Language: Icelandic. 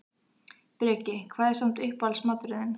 Breki: Hvað er samt uppáhalds maturinn þinn?